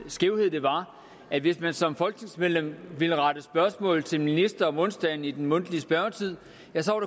skævhed der var at hvis man som folketingsmedlem ville rette spørgsmål til en minister om onsdagen i den mundtlige spørgetid